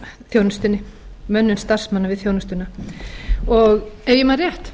þjónustunni mönnun starfsmanna við þjónustuna ef ég man rétt